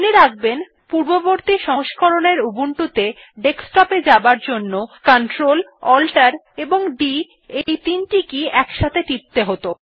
মনে রাখবেন পূর্ববতী সংস্করণ এর উবুন্টু ত়ে ডেস্কটপ এ যাবার জন্য CltAltD কী গুলি একত্রে টিপতে হত